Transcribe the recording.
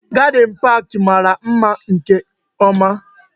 Gadin park mara oke mma